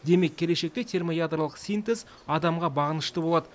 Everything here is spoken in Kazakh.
демек келешекте термоядролық синтез адамға бағынышты болады